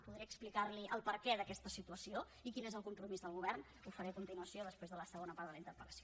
podré explicar li el perquè d’aquesta situació i quin és el compromís del govern ho faré a continuació després de la segona part de la interpel·lació